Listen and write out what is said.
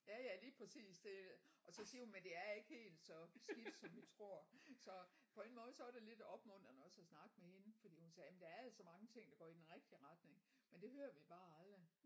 Ja ja lige præcis det er det og så siger hun men det er ikke helt så skidt som vi tror så på en måde så var det lidt opmuntrende også at snakke med hende fordi hun sagde men der er altså mange ting der går i den rigtige retning men det hører vi bare aldrig